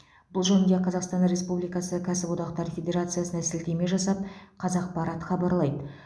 бұл жөнінде қазақстан республикасы кәсіподақтар федерациясына сілтеме жасап қазақпарат хабарлайды